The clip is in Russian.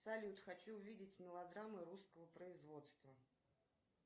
салют хочу увидеть мелодрамы русского производства